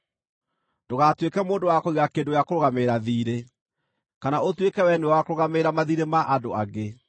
Ndũgatuĩke mũndũ wa kũiga kĩndũ gĩa kũrũgamĩrĩra thiirĩ, kana ũtuĩke wee nĩwe wa kũrũgamagĩrĩra mathiirĩ ma andũ angĩ;